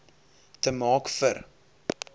te maak vir